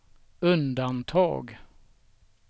undantag